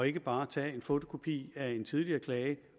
ikke bare tager en fotokopi af en tidligere klage